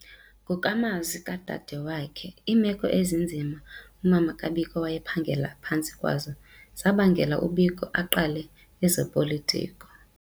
Ngokwamazwi kadadewakhe, iimeko ezinzima umama kaBiko wayephangela phantsi kwazo zabangela uBiko aqale ezopolitiko.